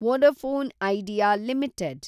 Vodafone Idea limited